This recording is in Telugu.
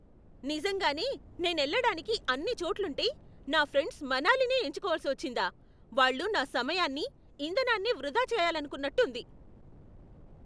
నిజంగానే, నేనెళ్ళడానికి అన్ని చోట్లుంటే నా ఫ్రెండ్స్ మనాలినే ఎంచుకోవలసి వచ్చిందా? వాళ్ళు నా సమయాన్ని, ఇంధనాన్ని వృధా చేయాలనుకున్నట్టు ఉంది!